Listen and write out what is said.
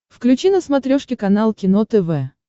включи на смотрешке канал кино тв